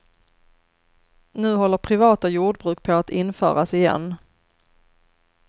Nu håller privata jordbruk på att införas igen.